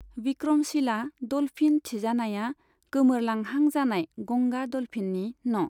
Vikramshila dolphin थिजानाया गोमोरलांहां जानाय गंगा डल्फिननि न'।